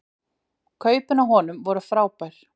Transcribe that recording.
Kaupin á honum voru frábær